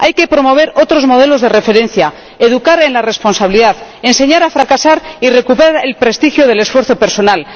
Hay que promover otros modelos de referencia, educar en la responsabilidad, enseñar a fracasar y recuperar el prestigio del esfuerzo personal.